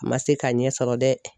a man se ka ɲɛsɔrɔ dɛ.